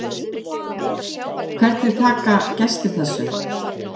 Helgi Vífill Júlíusson: Hvernig taka gestir þessu?